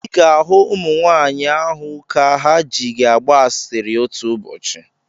Ị ga-ahụ ụmụnwaanyụ ahụ ka ha ji gị agba asịrị otu ụbọchị.